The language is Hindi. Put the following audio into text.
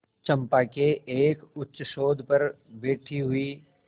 चंपा के एक उच्चसौध पर बैठी हुई